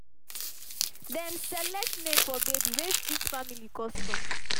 dem select name for baby wey fit family custom